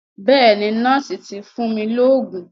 Bẹ́ẹ̀ni, nọ́ọ̀sì ti fún mi lóògùn.